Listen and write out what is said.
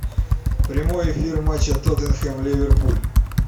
прямой эфир матча тоттенхэм ливерпуль